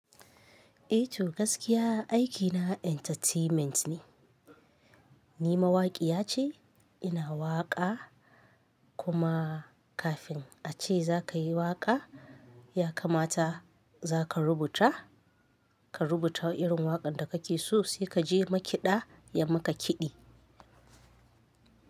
I to gaskiya aikina entertainment ne. Ni mawaƙiya ce, ina waƙa kuma kafin a ce za ka yi waƙa, ya kamata za ka rubuta, ka rubuta irin waƙar da kake so sai kaje makiɗa ya maka kiɗi.